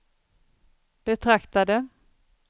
betraktade